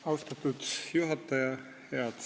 Austatud juhataja!